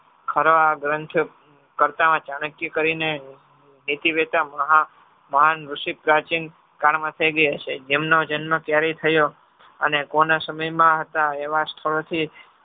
ખરવા ગ્રંથ કરતા ચાણક્ય કરીને નીતિ મહાન ઋષિપ્રચીન ગાનમાં થઈ ગયા હશે. જેમનો જન્મ ક્યારે થયો અને કોના સમયમાં હતા એવા સ્થળોથી